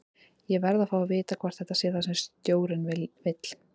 Ég verð að fá að vita hvort þetta sé það sem stjórinn vill?